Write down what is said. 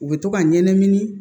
U bɛ to ka ɲɛnɛmini